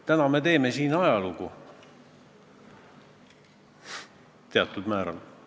Ma arvan, et meie lähtume Eesti Vabariigi põhiseadusest, kus on öeldud, et meie keel ja kultuur vajab kaitset.